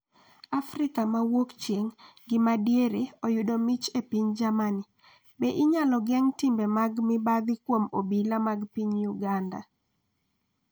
Afrika ma Wuokchieng’ gi ma Diere oyudo mich e piny Germany. Be inyalo geng' timbe mag mibadhi kuom obila mag piny Uganda?